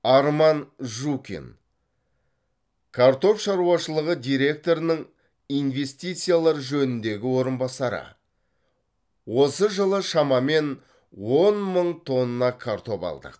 арман жукин картоп шаруашылығы директорының инвестициялар жөніндегі орынбасары осы жылы шамамен он мың тонна картоп алдық